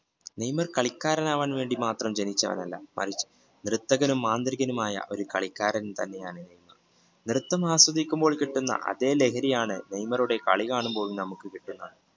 Neymar കളിക്കാരൻ ആകാൻ വേണ്ടി മാത്രം ജനിച്ച ആളല്ല ത്രിതനും മാന്ത്രികനും മായ ഒരു കളിക്കാരൻ തന്നെയാണ് നൃത്തം ആസ്വദിക്കുമ്പോൾ കിട്ടുന്ന അതേ ലഹരിയാണ് നെയ്മറുടെ കളി കാണുമ്പോൾ നമുക്ക് കിട്ടുന്നത്